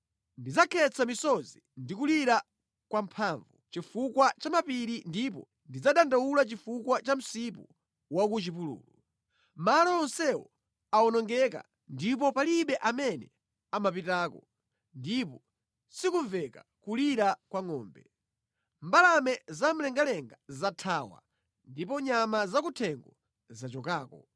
Ndidzakhetsa misozi ndi kulira kwamphamvu chifukwa cha mapiri ndipo ndidzadandaula chifukwa cha msipu wa ku chipululu. Malo onsewo awonongeka ndipo palibe amene amapitako, ndipo sikumveka kulira kwa ngʼombe. Mbalame zamlengalenga zathawa ndipo nyama zakuthengo zachokako.